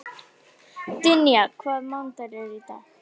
Dynja, hvaða mánaðardagur er í dag?